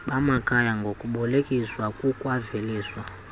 bamakhaya ngokubolekiswa kukwaveliswa